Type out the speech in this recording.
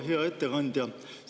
Hea ettekandja!